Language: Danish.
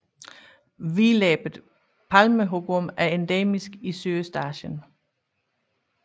Hvidlæbet palmehugorm er endemisk i Sydøstasien